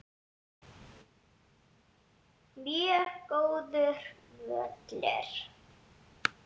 Mjög góður völlur.